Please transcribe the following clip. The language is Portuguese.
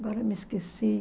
Agora me esqueci.